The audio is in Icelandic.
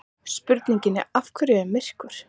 Spurningunni Af hverju er myrkur?